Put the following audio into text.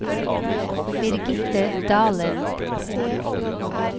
Birgitte Dahlen